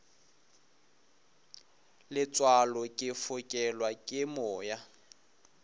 letswalo ke fokelwa ke moya